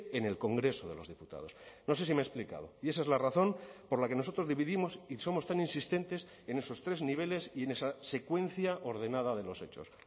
en el congreso de los diputados no sé si me he explicado y esa es la razón por la que nosotros dividimos y somos tan insistentes en esos tres niveles y en esa secuencia ordenada de los hechos